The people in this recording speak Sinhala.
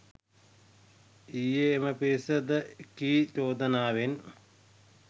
ඊයේ එම පිරිස ද එකී චෝදනාවෙන්